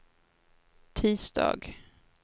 tisdag